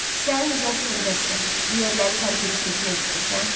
Sən Jasper Vesterin bu yerləri tərk edib getmək istəyirsən?